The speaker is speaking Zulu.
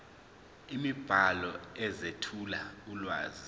imibhalo ezethula ulwazi